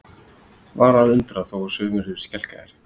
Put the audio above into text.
Var að undra þó sumir yrðu skelkaðir?